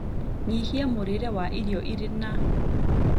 Nyihia mũrire wa irio iri na llllll